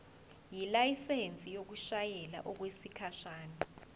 ilayisensi yokushayela okwesikhashana